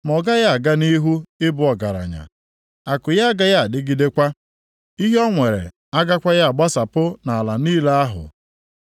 Ma ọ gaghị aga nʼihu ị bụ ọgaranya, akụ ya agaghị adịgidekwa. Ihe o nwere agakwaghị agbasapụ nʼala niile ahụ.